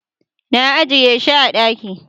na ajiye shi a daki